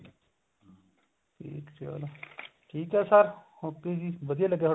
ਠੀਕ ਹੈ ਚਲੋ ਠੀਕ ਹੈ sir ਵਧਿਆ ਲੱਗਿਆ